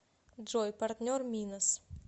джой партнер минос